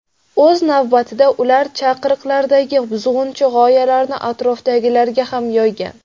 O‘z navbatida, ular chaqiriqlardagi buzg‘unchi g‘oyalarni atrofidagilarga ham yoygan.